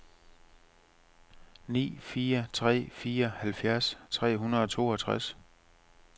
ni fire tre fire halvfjerds fem hundrede og toogtres